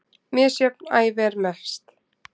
Misjöfn ævi er best.